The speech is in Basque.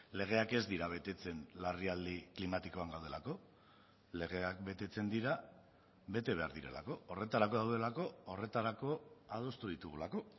legeak ez dira betetzen larrialdi klimatikoan gaudelako legeak betetzen dira bete behar direlako horretarako daudelako horretarako adostu ditugulako